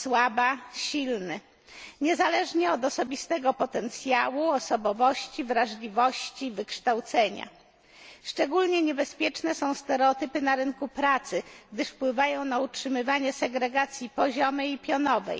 słaba silny, niezależnie od osobistego potencjału, osobowości, wrażliwości, wykształcenia. Szczególnie niebezpieczne są stereotypy na rynku pracy, gdyż wpływają na utrzymywanie segregacji poziomej i pionowej